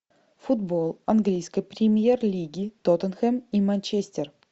футбол английской премьер лиги тоттенхэм и манчестер